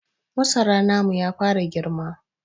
Masara namu ya fara girma.